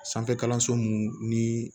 Sanfɛ kalanso munnu ni